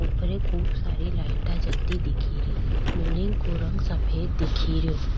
ऊपर खूब सारी लाइटा जलती दिख री बिलडिंग का रंग सफ़ेद दिख रो।